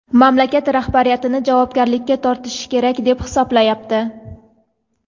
mamlakat rahbariyatini javobgarlikka tortishi kerak deb hisoblayapti.